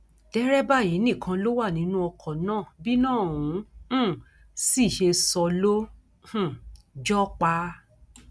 derébà yìí nìkan ló wà nínú ọkọ náà bíná òun um sì ṣe sọ ló um jọ ọ pa